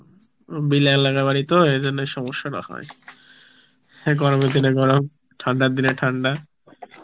বাড়ি তো, ওই জন্যই সমস্সাটা হয়, গরমের দিনে গরম ঠান্ডার দিনে ঠান্ডা